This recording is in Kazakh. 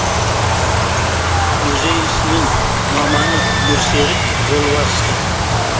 музей ісінің маманы нұрсерік жолбарысты